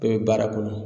Bɛɛ bɛ baara kɔnɔ